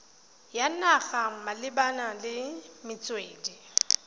ya naga malebana le metswedi